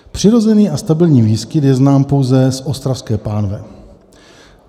Přirozený a stabilní výskyt je znám pouze z Ostravské pánve.